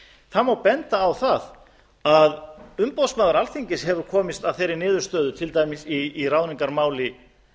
það má benda á það að umboðsmaður alþingis hefur komist að þeirri niðurstöðu til dæmis í ráðningarmáli